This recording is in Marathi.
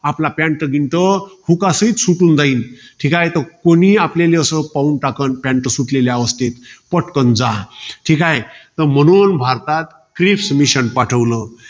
आपला pant बींट hook सहित सुटून जाईन. ठीके. त कोणीही आपल्या सोबत पाउल टाकल? Pant सुटलेल्या अवस्थेत. पटकन जा. ठीके? म्हणून भारतात क्रिस mission पाठवलं.